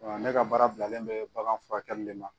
ne ka baara bilalen bɛ bagan furakɛli de ma.